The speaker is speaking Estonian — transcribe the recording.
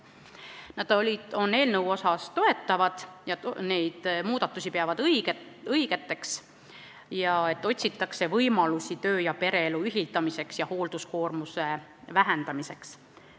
Nad toetavad eelnõu ja peavad õigeks neid muudatusi, et otsitakse võimalusi töö- ja pereelu ühitamiseks ning hoolduskoormuse vähendamiseks.